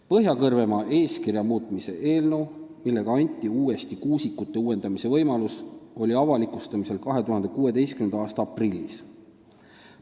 Põhja-Kõrvemaa eeskirja muutmise eelnõu, millega anti uuesti kuusikute uuendamise võimalus, oli avalikustamisel 2016. aasta aprillis.